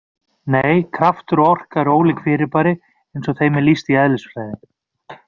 Nei, kraftur og orka eru ólík fyrirbæri eins og þeim er lýst í eðlisfræði.